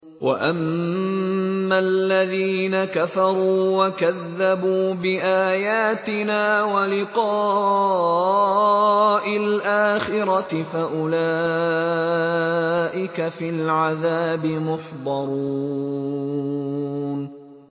وَأَمَّا الَّذِينَ كَفَرُوا وَكَذَّبُوا بِآيَاتِنَا وَلِقَاءِ الْآخِرَةِ فَأُولَٰئِكَ فِي الْعَذَابِ مُحْضَرُونَ